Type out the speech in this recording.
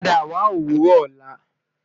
Pada wa owurọ ọla